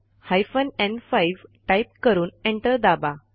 hyphen न्5 type करून enter दाबा